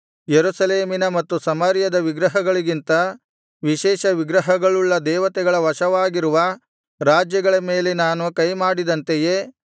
ಯೆರೂಸಲೇಮಿನ ಮತ್ತು ಸಮಾರ್ಯದ ವಿಗ್ರಹಗಳಿಗಿಂತ ವಿಶೇಷ ವಿಗ್ರಹಗಳುಳ್ಳ ದೇವತೆಗಳ ವಶವಾಗಿರುವ ರಾಜ್ಯಗಳ ಮೇಲೆ ನಾನು ಕೈಮಾಡಿದಂತೆಯೇ